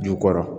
Ju kɔrɔ